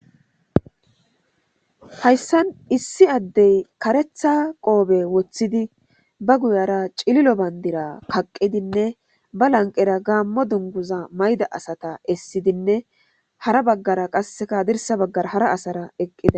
Hayssan issi addey kareththa qoobe woththidi ba guyara cililo bandira kaqqidinne ba lanqera gaamo dunguza mayida asata essidinne hara baggara qasseka hadirsa baggara hara asara eqqida.